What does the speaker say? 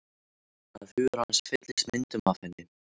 Að hugur hans fylltist myndum af henni.